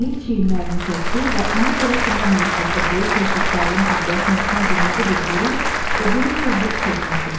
Emil çiyinlərini çəkdi və ona görə ki, mən Neystatda böyük Hersoq Karlın abidəsinin üstünə qırmızı bir burun və böyük bir bığ çəkmişdim.